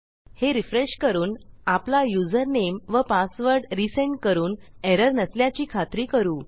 हे रिफ्रेश करून आपला युजरनेम व पासवर्ड रिसेंड करून एरर नसल्याची खात्री करू